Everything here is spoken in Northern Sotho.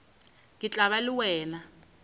ke tla ba le wena